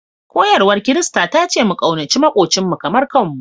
Koyarwar Kirista ta ce mu ƙaunaci maƙwabcinmu kamar kanmu